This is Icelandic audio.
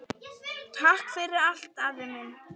Takk fyrir allt, afi minn.